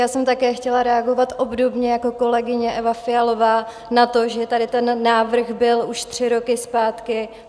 Já jsem také chtěla reagovat obdobně jako kolegyně Eva Fialová na to, že tady ten návrh byl už tři roky zpátky.